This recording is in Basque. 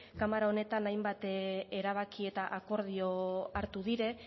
kamara honetan hainbat erabaki eta akordio hartu dira